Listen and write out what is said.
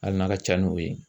Hali n'a ka ca n'o ye